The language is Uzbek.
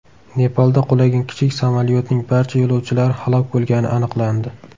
Nepalda qulagan kichik samolyotning barcha yo‘lovchilari halok bo‘lgani aniqlandi.